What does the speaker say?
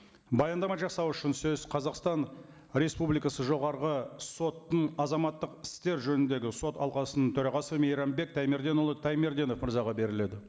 баяндама жасау үшін сөз қазақстан республикасы жоғарғы соттың азаматтық істер жөніндегі сот алқасының төрағасы мейрамбек таймерденұлы таймерденов мырзаға беріледі